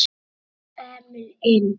Jóhann og Emil inn?